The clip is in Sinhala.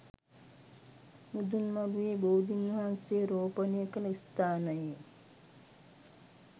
මුදුන් මළුවේ බෝධින් වහන්සේ රෝපණය කළ ස්ථානයේ